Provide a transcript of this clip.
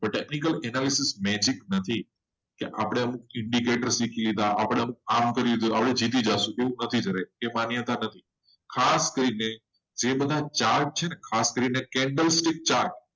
technical analysis magic નથી. કે આપણે આમ indecater શીખી લીધા કે આપણે આમ કરી લીધો એટલે જીતી જશે કામ નથી એ માન્યતા નથી ખાસ કરીને ખાસ કરીને ચાટ છે ને candle stick chart